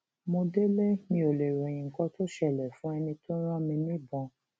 mo délé mi ò lè ròyìn nǹkan tó ṣẹlẹ fún ẹni tó rán mi níbọn